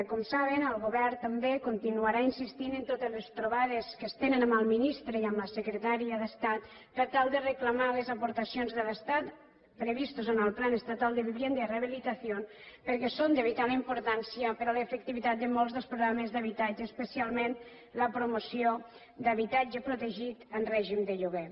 com saben el govern també continuarà insistint en totes les trobades que es tenen amb el ministre i amb la secretària d’estat per tal de reclamar les aportacions de l’estat previstes en el plan estatal de vivienda y rehabilitación perquè són de vital importància per a l’efectivitat de molts dels programes d’habitatge especialment la promoció d’habitatge protegit en règim de lloguer